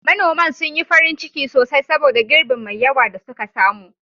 Manoman sun yi farin ciki sosai saboda girbin mai yawa da suka samu.